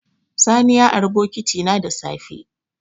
Sani borrowed my bucket in the morning.